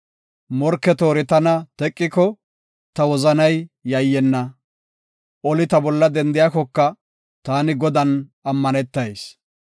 Morke toori tana teqiko ta wozanay yayyenna. Oli ta bolla dendiyakoka, taani Godan ammanetayis.